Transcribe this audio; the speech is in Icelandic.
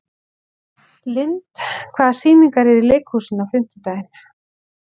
Lynd, hvaða sýningar eru í leikhúsinu á fimmtudaginn?